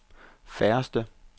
færreste